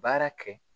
Baara kɛ